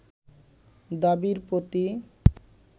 দাবির প্রতি